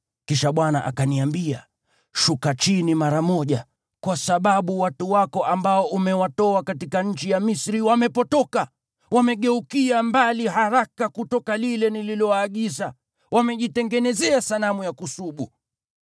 Kisha Bwana akaniambia, “Shuka chini mara moja, kwa sababu watu wako ambao umewatoa katika nchi ya Misri wamepotoka. Wamegeukia mbali haraka kutoka lile nililowaagiza, wamejitengenezea sanamu ya kusubu.”